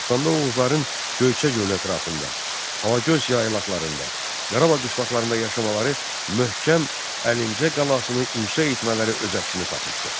Dastanda Oğuzların Göyçə gölü ətrafında, Alagöz yaylaqlarında, Qarabağ qışlaqlarında yaşamaları, möhkəm Əlincə qalasını inşa etmələri öz əksini tapmışdır.